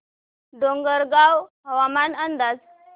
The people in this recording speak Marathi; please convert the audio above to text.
डोंगरगाव हवामान अंदाज